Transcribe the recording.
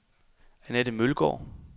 Anette Mølgaard